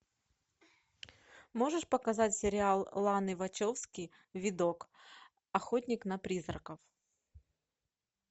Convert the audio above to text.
можешь показать сериал ланы вачовски видок охотник на призраков